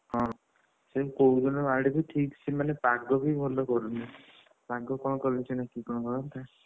ହଁ ସିଏ କୋଉଦିନ ଆଡକୁ ଠିକ୍ ସେମାନେ ପାଗ ବି ଭଲ କରୁନି ପାଗ କଣ କଲେ ସିନା କିଏ କଣ କରନ୍ତା,